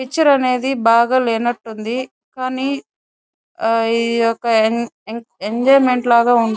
picture అనేది బాగా లేనట్టుంది కానీ ఆహ్ ఈ యొక్క ఎన్ ఎన్ ఎంజాయిమెంట్ లాగా ఉం --